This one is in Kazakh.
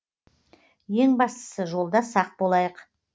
ең бастысы жолда сақ болайық